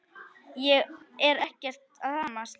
Ég er ekkert að hamast.